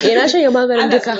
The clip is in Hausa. E, na shanye maganin duka.